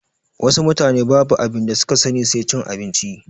Wasu mutane babu abinda suka sani sai cin abinci